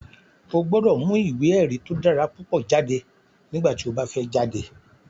O gbọ́dọ̀ mu ìwé èrí tó dára púpọ̀ jáde nígbà tí o bá fẹ́ jáde